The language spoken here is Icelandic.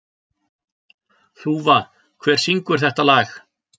Þúfa, hver syngur þetta lag?